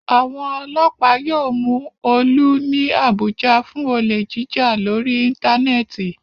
Àwọn ọlọ́pàá yóò mú Olú ní Àbújá fún olè jíjà lórí íńtánẹ́ẹ̀tì.